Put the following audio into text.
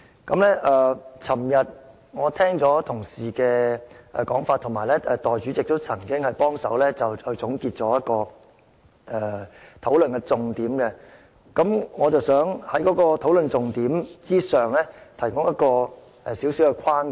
昨天我聽了同事的說法，而代理主席亦曾總結討論的重點，我想在討論的重點之上提出一個小框架。